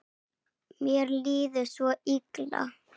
Mér líður svo illa.